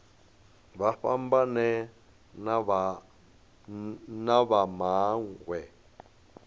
vha fhambane na vha mawe